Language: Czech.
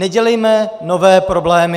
Nedělejme nové problémy!